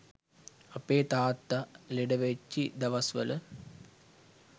අපේ තාත්තා ලෙඩ වෙච්චි දවස් වල